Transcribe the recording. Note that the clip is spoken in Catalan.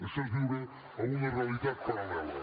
això és viure en una realitat paral·lela